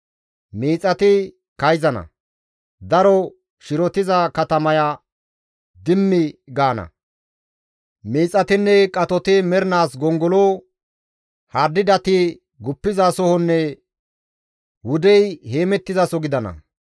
Miixati kayzana; daro shirotiza katamaya dimmi gaana; miixatinne qatoti mernaas gongolo, hardidati guppizasohonne wudey heemettizaso gidana.